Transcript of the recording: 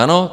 Ano.